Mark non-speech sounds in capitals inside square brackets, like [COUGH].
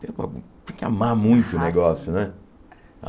Tem que amar muito [UNINTELLIGIBLE] o negócio, né?